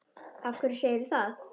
Af hverju segirðu það?